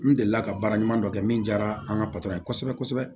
N delila ka baara ɲuman dɔ kɛ min diyara an ka patɔrɔn ye kosɛbɛ kosɛbɛ